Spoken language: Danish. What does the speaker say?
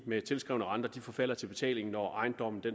med tilskrevne renter forfalder til betaling når ejendommen